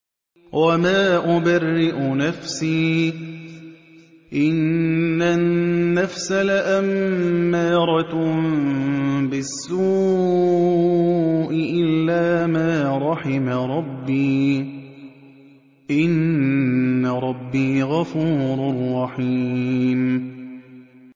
۞ وَمَا أُبَرِّئُ نَفْسِي ۚ إِنَّ النَّفْسَ لَأَمَّارَةٌ بِالسُّوءِ إِلَّا مَا رَحِمَ رَبِّي ۚ إِنَّ رَبِّي غَفُورٌ رَّحِيمٌ